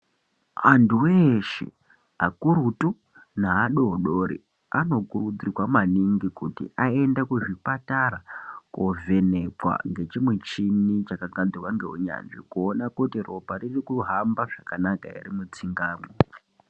Andu eshe akurutu neadodori anokurudzirwa maningi kuti ayende kuzvipatara kovhenekwa ngechimuchini chakagadzirwa ngeunyanzvi kuona kuti ropa ririkuhamba zvakanaka here mutsinga mwo.